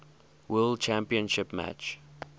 world championship match